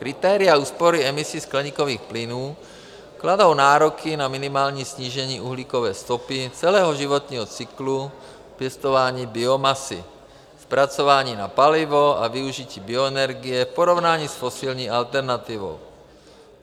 Kritéria úspory emisí skleníkových plynů kladou nároky na minimální snížení uhlíkové stopy celého životního cyklu pěstování biomasy, zpracování na palivo a využití bioenergie v porovnání s fosilní alternativou.